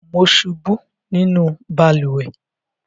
Mo ṣubú nínú balùwẹ́